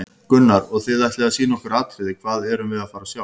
Gunnar: Og þið ætlið að sýna okkur atriði, hvað erum við að fara að sjá?